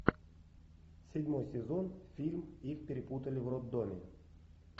седьмой сезон фильм их перепутали в роддоме